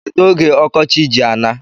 Kedu oge ọkọchị ji ana?